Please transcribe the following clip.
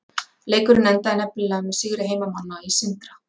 Leikurinn endaði nefnilega með sigri heimamanna í Sindra.